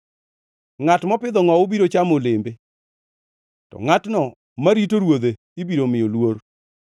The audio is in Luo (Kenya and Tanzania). Ngʼat mopidho ngʼowu biro chamo olembe, to ngʼatno marito ruodhe ibiro miyo luor.